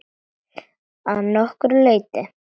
Að nokkru leyti.